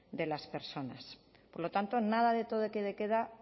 de las personas por lo tanto nada de toque de queda